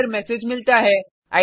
का error message मिलता है